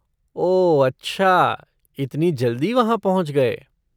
ओह अच्छा, इतनी जल्दी वहाँ पहुँच गए!